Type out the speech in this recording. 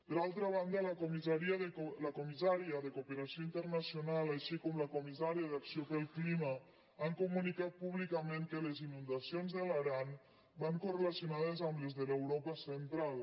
per altra banda la comissària de cooperació internacional així com la comissària d’acció pel clima han comunicat públicament que les inundacions de l’aran van correlacionades amb les de l’europa central